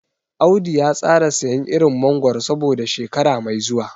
Audu ya tsara siyan irin mangoro saboda shekara mai zuwa.